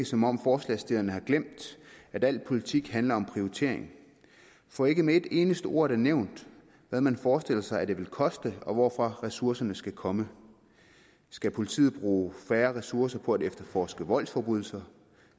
som om forslagsstillerne har glemt at al politik handler om prioritering for ikke med et eneste ord er det nævnt hvad man forestiller sig det vil koste og hvorfra ressourcerne skal komme skal politiet bruge færre ressourcer på at efterforske voldsforbrydelser